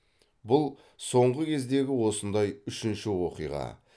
бұл соңғы кездегі осындай үшінші оқиға